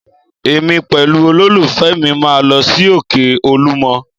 Èmi pẹ̀lú olólùfẹ́ mi máa lọ sí òkè Olúmọ